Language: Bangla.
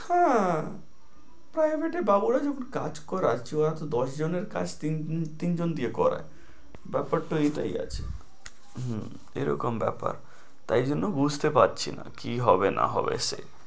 হ্যাঁ, Private এ বাবুরা যখন কাজ করাচ্ছে ওরা তো দশ জনের কাজ তিন~ তিনজন দিয়ে করায়, ব্যাপারটা এটাই আছে, হু এ রকম ব্যাপার। তাই জন্য বুঝতে পারছি না কি হবে না হবে সে